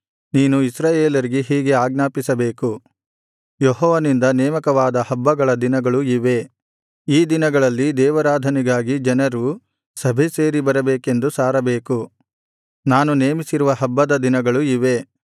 ನೀನು ಇಸ್ರಾಯೇಲರಿಗೆ ಹೀಗೆ ಆಜ್ಞಾಪಿಸಬೇಕು ಯೆಹೋವನಿಂದ ನೇಮಕವಾದ ಹಬ್ಬಗಳ ದಿನಗಳು ಇವೇ ಈ ದಿನಗಳಲ್ಲಿ ದೇವಾರಾಧನೆಗಾಗಿ ಜನರು ಸಭೆಸೇರಿಬರಬೇಕೆಂದು ಸಾರಬೇಕು ನಾನು ನೇಮಿಸಿರುವ ಹಬ್ಬದ ದಿನಗಳು ಇವೇ